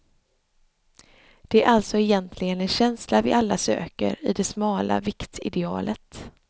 Det är alltså egentligen en känsla vi alla söker i det smala viktidealet.